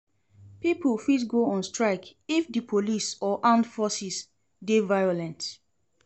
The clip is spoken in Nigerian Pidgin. Pipo fit go on strike if the police or armed forces de violent